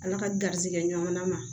Ala ka garrisigɛ ɲɔgɔnna ma